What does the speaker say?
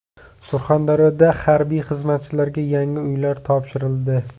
Surxondaryoda harbiy xizmatchilarga yangi uylar topshirildi.